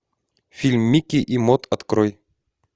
фильм микки и мод открой